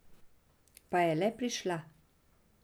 Pa je le prišla ...